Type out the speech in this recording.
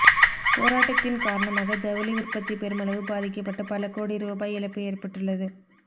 போராட்டத்தின் காரணமாக ஜவுளி உற்பத்தி பெருமளவு பாதிக்கப்பட்டு பல கோடி ரூபாய் இழப்பு ஏற்பட்டுள்ளது